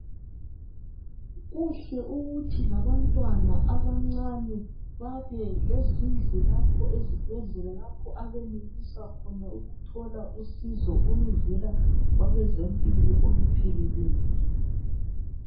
Kuhle ukuthi labantwana abancane babelezindlu lapho ezibhendlela lapho abenelisa khona ukuthola usizo oluvela kwabezempilo oluphelekeyo